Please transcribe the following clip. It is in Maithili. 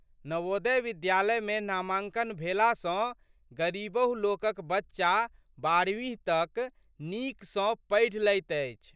नवोदय विद्यालयमे नामाङ्कन भेला सँ गरीबहु लोकक बच्चा बराहवीं तक नीक सँ पढ़ि लैत अछि।